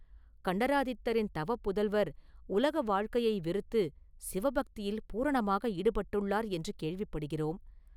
கண்டராதித்தரின் தவப் புதல்வர் உலக வாழ்க்கையை வெறுத்துச் சிவபக்தியில் பூரணமாக ஈடுபட்டுள்ளார் என்று கேள்விப்படுகிறோம்.